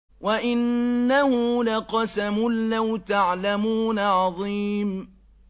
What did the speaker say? وَإِنَّهُ لَقَسَمٌ لَّوْ تَعْلَمُونَ عَظِيمٌ